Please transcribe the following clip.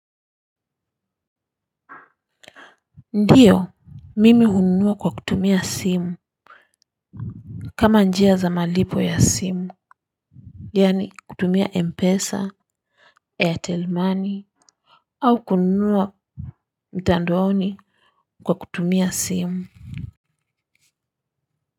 Ndiyo mimi hununua kwa kutumia simu kama njia za malipo ya simu yaani kutumia mpesa airtel money au kununua mtandaoni kwa kutumia simu.